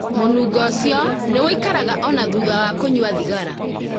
Mũnungo ũcio nĩ ũikaraga o na thutha wa kũnyua thigara.